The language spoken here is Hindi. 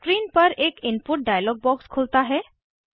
स्क्रीन पर एक इनपुट डायलॉग बॉक्स खुलता है